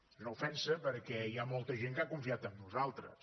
és una ofensa perquè hi ha molta gent que ha confiat en nosaltres